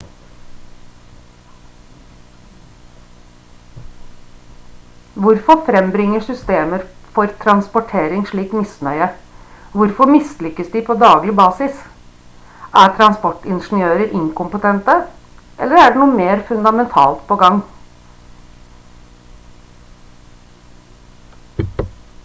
hvorfor frembringer systemer for transportering slik misnøye hvorfor mislykkes de på daglig basis er transportingeniører inkompetente eller er det noe mer fundamentalt på gang